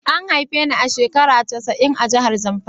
A haife ni a shekaru casa'in a'jihar Zamfara.